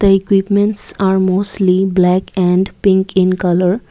the equipment are mostly black and pink in colour.